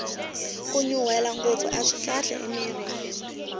kunyunrwela ngopfu aswi kahle emirhini